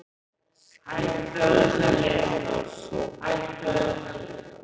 Skyldi hún hafa sofnað þarna undir veggnum?